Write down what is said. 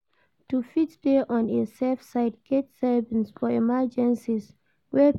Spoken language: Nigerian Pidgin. To fit de on a safe side get savings for emergencies way fit sup